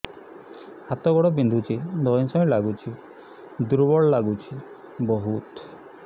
ହାତ ଗୋଡ ବିନ୍ଧୁଛି ଧଇଁସଇଁ ଲାଗୁଚି ଦୁର୍ବଳ ଲାଗୁଚି ବହୁତ